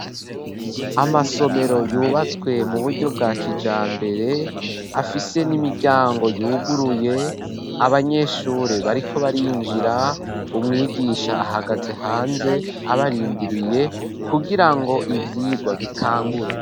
Amasomero, yubatswe mu buryo bwa kijambere, afise n'imiryango yuguruye; abanyeshure bariko barinjira, umwigisha ahagaze hanze, abarindiriye; kugira ngo, ivyigwa bitangure.